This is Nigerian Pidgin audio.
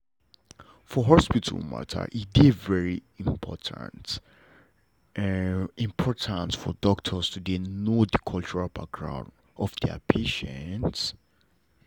for hospital matter e dey very important important for doctors to dey know the cultural background of their patients.